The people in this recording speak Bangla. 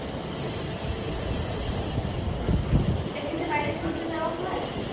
এমনিতে বাইরে ঘুরতে যাওয়া হয়।